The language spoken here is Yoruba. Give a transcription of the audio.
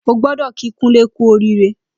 Ó gbọdọ kí Kunle kù óriré